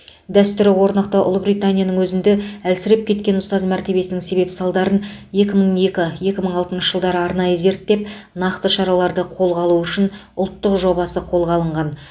дәстүрі орнықты ұлыбританияның өзінде әлсіреп кеткен ұстаз мәртебесінің себеп салдарын екі мың екі екі мың атыншы жылдары арнайы зерттеп нақты шараларды қолға алу үшін ұлттық жобасы қолға алынған